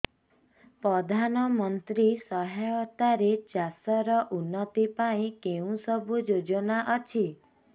ପ୍ରଧାନମନ୍ତ୍ରୀ ସହାୟତା ରେ ଚାଷ ର ଉନ୍ନତି ପାଇଁ କେଉଁ ସବୁ ଯୋଜନା ଅଛି